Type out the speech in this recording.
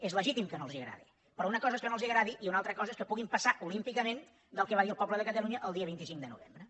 és legítim que no els agradi però una cosa és que no els agradi i una altra cosa és que puguin passar olímpicament del que va dir el poble de catalunya el dia vint cinc de novembre